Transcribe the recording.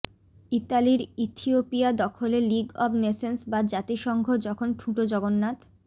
ইতালির ইথিওপিয়া দখলে League of Nations বা জাতিসংঘ যখন ঠুঁটো জগন্নাথ